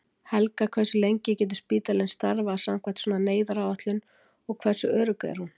Helga: Hversu lengi getur spítalinn starfað samkvæmt svona neyðaráætlun og hversu örugg er hún?